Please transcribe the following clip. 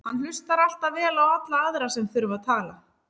Hann hlustar alltaf vel á alla aðra sem þurfa að tala.